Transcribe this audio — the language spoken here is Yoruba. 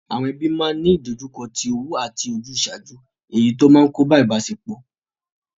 Àwon ebí ma ni ìdojúko ti owú àti ojúsàjú èyi ti o n kóbá ìbásepò